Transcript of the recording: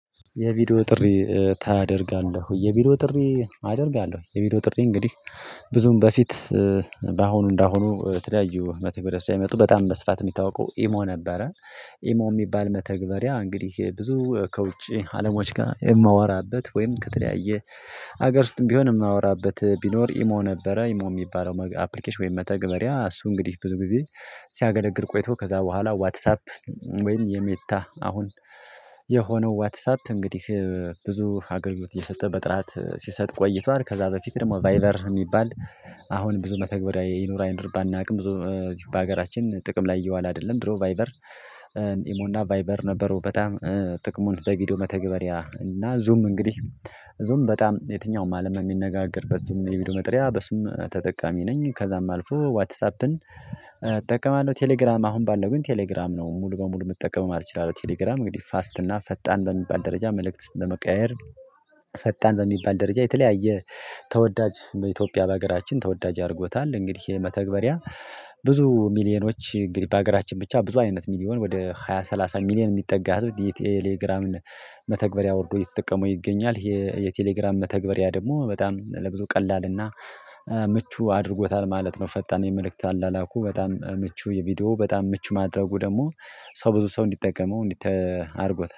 የቪዲዮ ጥሪ ታደርጋለህ ወይ? የቪዲዮ ጥሪ አደርጋለሁ። የቪዲዮ ጥሪ እንግዲህ ብዙም በፊት በአሁኑ እንደአሁኑ የተለያዩ መተግበሪያ ሳይመጡ በጣም በስፋት የሚታወቀው ኢሞ ነበረ። ኢሞ የሚባል መተግበሪያ እንግዲህ ብዙ ከውጪ አለሞች ጋር የማወራበት ወይም ከተለያየ ሀገር ውስጥም ቢሆን የማወራበት ቢኖር ኢሞ ነበረ ኢሞ የሚባለው አፕሊኬሽን ወይም መተግበሪያ እሱ እንግዲህ ብዙ ጊዜ ሲያገለግል ቆይቶ ከዛ በኋላ ዋትሳፕ ወይም የሜታ አሁን የሆነው ዋትሳፕ እንግዲህ ብዙ አገልግሎት እየሰጠ በጥራት ሲሰጥ ቆይቷል። ከዛ በፊት ደግሞ ቫይበር የሚባል አሁን ብዙ መተግበሪያ ይኑር አይነት ባናውቅም ብዙ በሀገራችን ጥቅም ላይ እየዋለ አይደለም ድሮ ቫይበር። እሞ እና ቫይበር ነበሩ በጣም ጥቅሙን ለቪዲዮ መተግበሪያ እና ዙም እንግዲህ ዙም በጣም የትኛውም አለም የሚነጋገርበት ዙም የቪዲዮ መጠሪያ በሱም ተጠቃሚ ነኝ ከዛም አልፎ ዋትሳፕን እጠቀማለሁ። ቴሌግራም አሁን ባለው ግን ቴሌግራም ነው ሙሉ በሙሉ መጠቀም ማለት እችላለሁ። ቴሌግራም እንግዲህ ፋስት እና ፈጣን በሚባል ደረጃ መልእክት ለመቀያየር ፈጣን በሚባል ደረጃ የተለያየ ተወዳጅ በኢትዮጵያ በሀገራችን ተወዳጅ አድርጎታል። እንግዲህ የመተግበሪያ ብዙ ሚሊዮኖች እንግዲህ በሀገራችን ብቻ ብዙ አይነት ሚሊዮን ወደ ሃያ ሰላሳ ሚሊዮን የሚጠጋ ህዝብ የቴሌግራም መተግበሪያ አውርዶ እየተጠቀመው ይገኛል። የቴሌግራም መተግበሪያ ደግሞ በጣም ለብዙ ቀላልና ምቹ አድርጎታል ማለት ነው። ፈጣን የመልእክት አላላኩ በጣም ምቹ የቪዲዮ በጣም ምቹ ማድረጉ ደግሞ ሰው ብዙ ሰው እንዲጠቀመው እንዲተ አድርጎታል